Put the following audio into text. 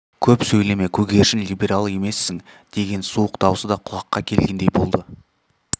көп сөйлеме көгершін либерал емессің деген суық даусы да құлаққа келгендей болады